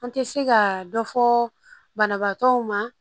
An tɛ se ka dɔ fɔ banabaatɔw ma